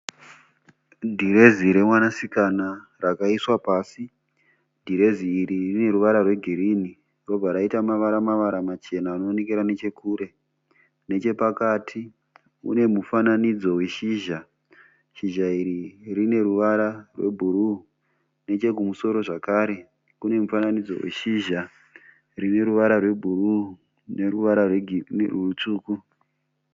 Dhirezi remwanasikana rakaiswa pasi. Dhirezi iri runeruvara rwegirini robva raita mavara-mavara machena anoonekera nechekure. Nechepakati munemufananidzo weshizha. Shizha iri runeruvara rwebhuruu nechekumusoro zvakare kune mufananidzo weshizha rineruvara rwebhuruu nerwutsvuku.